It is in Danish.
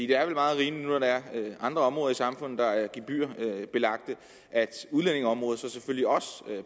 det er vel meget rimeligt når der er andre områder i samfundet der er gebyrbelagte at udlændingeområdet selvfølgelig også